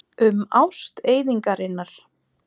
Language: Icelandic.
Um ást eyðingarinnar.